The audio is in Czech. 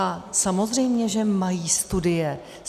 A samozřejmě že mají studie.